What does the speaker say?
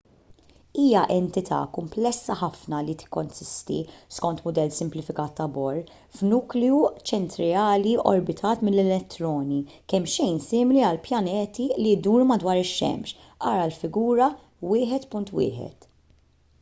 hija entità kumplessa ħafna li tikkonsisti skont mudell simplifikat ta' bohr f'nukleu ċentrali orbitat minn elettroni kemmxejn simili għal pjaneti li jduru madwar ix-xemx ara l-figura 1.1